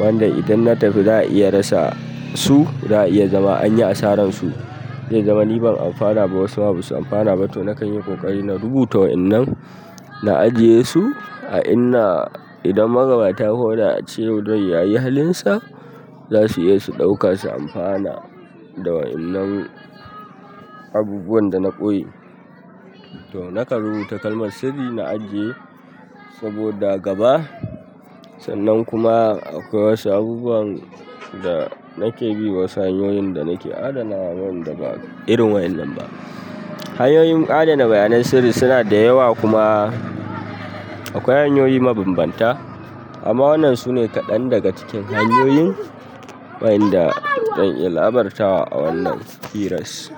wanda idan na tafi za a iya rasa su, za a iya zama an yi asarar su. Zai zama ni ban amfana ba wasu ma ba su amfana ba to nakan yi ƙoƙari na rubuta wa'inan, na ajiye su a inda idan magabata ko da a ce yau rai ya yi halinsa, za su iya su ɗauka su amfana da wa'innan abubuwan da na ɓoye. To nakan rubuta kalmar sirri na ajiye saboda gaba sannan kuma akwai wasu abubuwan da nake bi wa wasu hanyoyin da nake adana wanda ba irin wa'innan ba. Hanyoyin adana bayanan sirri suna da yawa kuma akwai hanyoyi mabambanta amma wannan sune kaɗan daga cikin hanyoyin wa'inda zan iya labarta wa a wannan kiras.